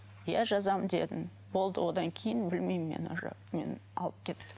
иә жазамын дедім болды одан кейін білмеймін мен уже мені алып кетті